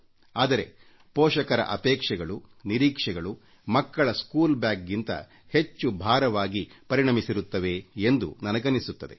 ಆದರೆ ಪೋಷಕರ ಅಪೇಕ್ಷೆಗಳು ನಿರೀಕ್ಷೆಗಳು ಮಕ್ಕಳ ಸ್ಕೂಲ್ ಬ್ಯಾಗ್ಗಿಂತ ಹೆಚ್ಚು ಭಾರವಾಗಿ ಪರಿಣಮಿಸಿರುತ್ತವೆ ಎಂದು ನನಗನ್ನಿಸುತ್ತದೆ